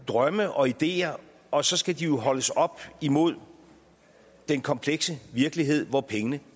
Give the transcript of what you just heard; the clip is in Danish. drømme og ideer og så skal de jo holdes op imod den komplekse virkelighed hvor pengene